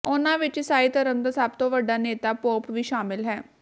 ਉਨ੍ਹਾਂ ਵਿੱਚ ਈਸਾਈ ਧਰਮ ਦਾ ਸਭ ਤੋਂ ਵੱਡਾ ਨੇਤਾ ਪੋਪ ਵੀ ਸ਼ਾਮਲ ਹੈ